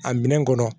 A minɛn kɔnɔ